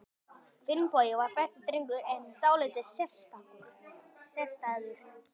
Finnbogi var besti drengur, en dálítið sérstæður.